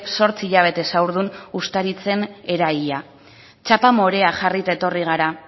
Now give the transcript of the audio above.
zortzi hilabetez haurdun ustaritzen eraila txapa morea jarrita etorri gara